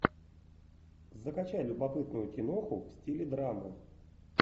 закачай любопытную киноху в стиле драмы